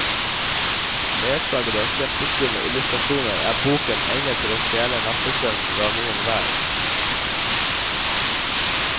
Ledsaget av kjempeskumle illustrasjoner er boken egnet til å stjele nattesøvnen fra noen hver.